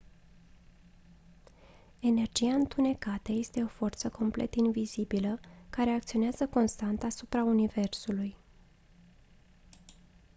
energia întunecată este o forță complet invizibilă care acționează constant asupra universului